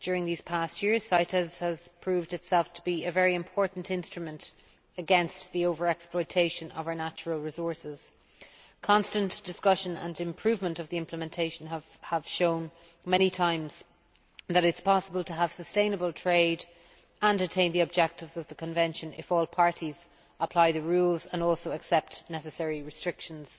During these years, the Convention has proved itself to be an important instrument against over exploitation of our natural resources. Constant discussion and improvement of its implementation have shown many times that it is possible to have sustainable trade and also to attain the objectives of the Convention if all parties apply the rules and accept necessary restrictions.